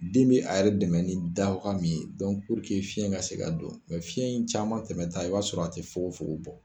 Den bɛ a yɛrɛ dɛmɛ ni dawaga min fiɲɛ ka se ka don nka fiɲɛ in caman tɛmɛta i b'a sɔrɔ a tɛ fogofogo bɔ